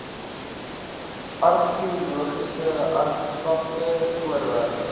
argeologiese artefakte voorwerpe